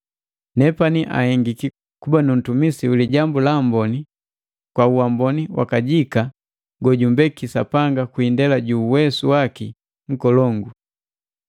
Nepani anhengiki kuba nu ntumisi wa Lijambu la Amboni kwa uamboni wakajika gojumbeki Sapanga kwi indela ju uwesu waki nkolongu.